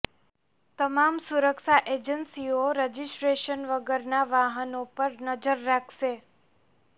તમામ સુરક્ષા એજન્સીઓ રજીસ્ટ્રેશન વગરના વાહનો પર નજર રાખશે